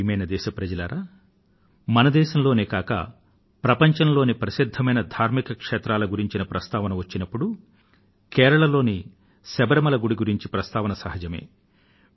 ప్రియమైన నా దేశ వాసులారా మన దేశంలోనే కాక ప్రపంచంలోని ప్రసిద్ధ ధార్మిక క్షేత్రాలను గురించిన ప్రస్తావన వచ్చినప్పుడు కేరళలోని శబరిమల లోని గుడి గురించి ప్రస్తావన సహజమే